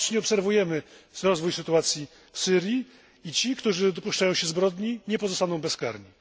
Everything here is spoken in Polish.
Bacznie obserwujemy rozwój sytuacji w Syrii i ci, którzy dopuszczają się zbrodni, nie pozostaną bezkarni.